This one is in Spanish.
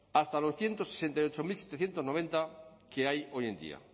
hasta ciento sesenta y ocho mil setecientos noventa que hay hoy en día